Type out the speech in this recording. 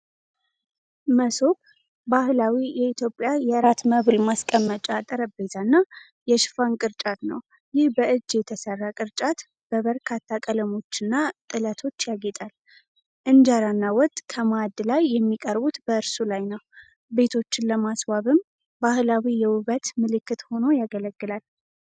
መሶብ ባህላዊ የኢትዮጵያ የራት መብል ማስቀመጫ ጠረጴዛና የሽፋን ቅርጫት ነው። ይህ በእጅ የተሠራ ቅርጫት በበርካታ ቀለሞችና ጥለቶች ያጌጣል፤ እንጀራና ወጥ ከማዕድ ላይ የሚቀርቡት በእርሱ ላይ ነው። ቤቶችን ለማስዋብም ባህላዊ የውበት ምልክት ሆኖ ያገለግላል።